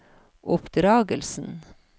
oppdragelsen